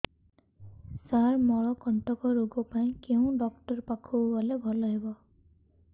ସାର ମଳକଣ୍ଟକ ରୋଗ ପାଇଁ କେଉଁ ଡକ୍ଟର ପାଖକୁ ଗଲେ ଭଲ ହେବ